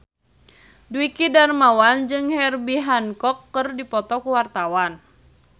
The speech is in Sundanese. Dwiki Darmawan jeung Herbie Hancock keur dipoto ku wartawan